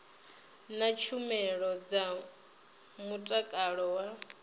na tshumelo dza mutakalo wa